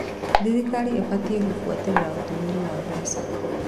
Thirikari ĩbatiĩ gũbuatĩrĩra ũtũmĩri wa mbeca.